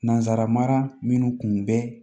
Nanzara mara minnu kun bɛ